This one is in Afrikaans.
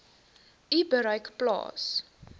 u bereik plaas